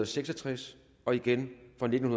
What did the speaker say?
seks og tres og igen fra nitten